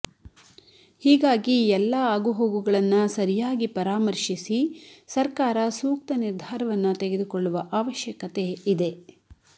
ಹೀಗಾಗಿ ಎಲ್ಲ ಆಗುಹೋಗುಗಳನ್ನ ಸರಿಯಾಗಿ ಪರಾಮರ್ಶಿಸಿ ಸರ್ಕಾರ ಸೂಕ್ತ ನಿರ್ಧಾರವನ್ನ ತೆಗೆದುಕೊಳ್ಳುವ ಅವಶ್ಯಕತೆ ಇದೆ